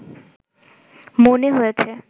মনে হয়েছে